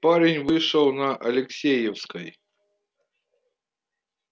парень вышел на алексеевской